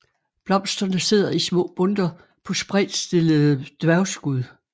Blomsterne sidder i små bundter på spredtstillede dværgskud